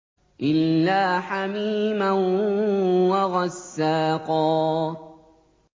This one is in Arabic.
إِلَّا حَمِيمًا وَغَسَّاقًا